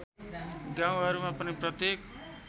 गाउँहरूमा पनि प्रत्येक